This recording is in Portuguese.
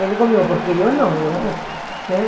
Ele comigo, porque eu não, eu né?